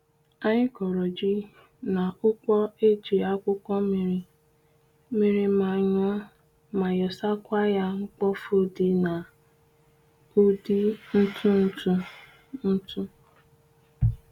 Anyi koro ji na ukpo eji akwukwo miri mmiri manyuo ma yosa kwaya mkpofu di na udi ntu ntu ntu